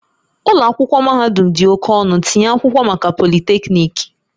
Ụlọ akwụkwọ mahadum dị oke ọnụ, tinye akwụkwọ maka Polytechnic